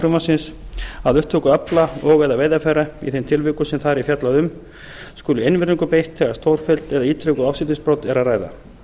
frumvarpsins að upptöku afla og eða veiðarfæra í þeim tilvikum sem þar er fjallað um skuli einvörðungu beitt þegar um stórfelld eða ítrekuð ásetningsbrot er að ræða